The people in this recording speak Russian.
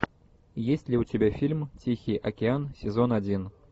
есть ли у тебя фильм тихий океан сезон один